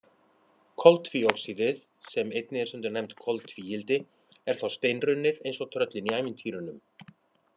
Koltvíoxíðið, sem einnig er stundum nefnt koltvíildi, er þá steinrunnið eins og tröllin í ævintýrunum.